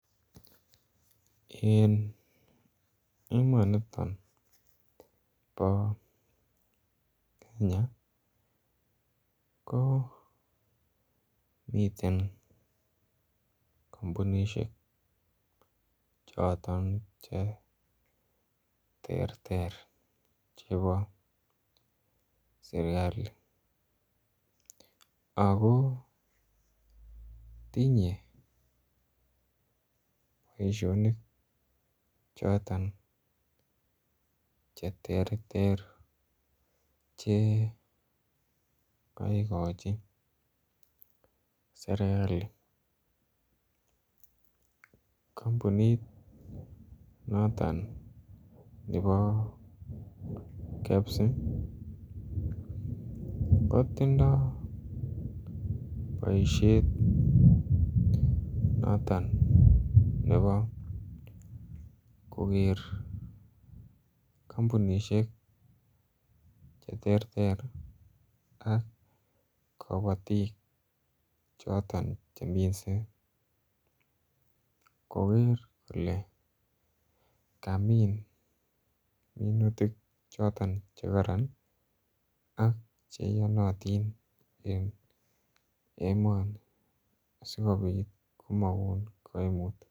En emonito bo Kenya komiten kampunisiek Choton Che terter chebo serkali ako tinye boisionik choton Che terter Che kaigochi serkali kampunit noton nebo KEBS kotindoi boisiet noton nebo koger kampunisiek Che terter ak kabatik cheminse koger kole kamin minutik choton Che kororon ako Che iyonotin en emoni asikobit komokon kaimut